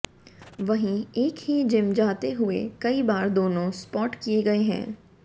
वहीं एक ही जिम जाते हुए कई बार दोनों स्पॉट किए गए हैं